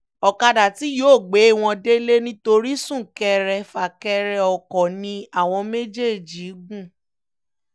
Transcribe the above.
ọ̀kadà tí yóò gbé wọn délé nítorí sún-kẹrẹ-fà-kẹrẹ ọkọ ni wọ́n ní àwọn méjèèjì gùn